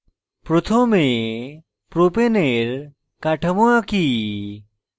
প্রথমে propane propane এর কাঠামো আঁকি